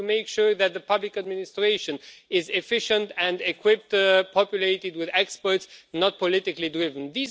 We have to make sure that the public administration is efficient and equipped, populated with experts, not politically driven.